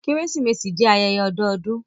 Keresimesi jẹ ayẹyẹ ọdọọdun.